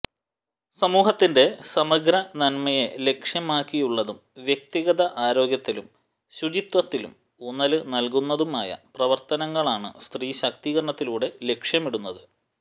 സമൂഹത്തിന്റെ സമഗ്ര നന്മയെ ലക്ഷ്യമാക്കിയുള്ളതും വ്യക്തിഗത ആരോഗ്യത്തിലും ശുചിത്വത്തിലും ഊന്നല് നല്കുന്നതുമായ പ്രവര്ത്തനങ്ങളാണ് സ്ത്രീശാക്തീകരണത്തിലൂടെ ലക്ഷ്യമിടുന്നത്